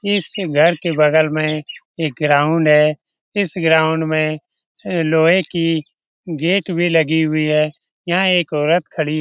इस घर के बगल में एक ग्राउंड है इस ग्राउंड में अ लोहे की गेट भी लगी हुई है यहाँ एक औरत खड़ी --